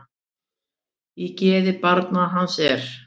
Í geði barn hans er.